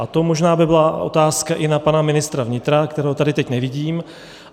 A to by možná byla otázka i na pana ministra vnitra, kterého tady teď nevidím.